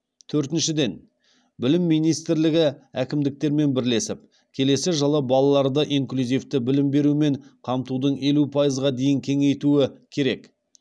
төртіншіден білім министрлігі әкімдіктермен бірлесіп келесі жылы балаларды инклюзивті білім берумен қамтуды елу пайызға дейін кеңейтуі керек